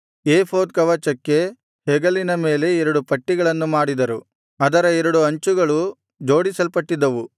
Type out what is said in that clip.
ಏಫೋದ್ ಕವಚಕ್ಕೆ ಹೆಗಲಿನ ಮೇಲೆ ಎರಡು ಪಟ್ಟಿಗಳನ್ನು ಮಾಡಿದರು ಅದರ ಎರಡು ಅಂಚುಗಳು ಜೋಡಿಸಲ್ಪಟ್ಟಿದ್ದವು